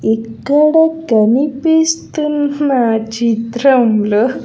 ఇక్కడ కనిపిస్తున్న చిత్రంలో.